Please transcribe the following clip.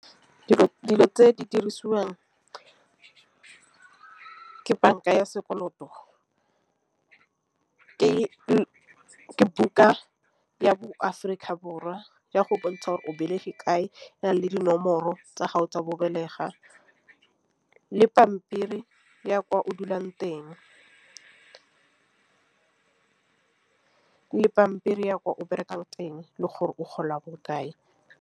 Dilo tse dirisiwang ke banka ya sekoloto ke ke buka ya Aforika Borwa ya go bontsha gore o belegwe kae le dinomoro tsa go bontšha gore o belega le pampiri ya kwa o dulang teng. Le pampiri ya kwa o berekang teng le gore o gola bokae.